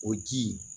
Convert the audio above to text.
O ji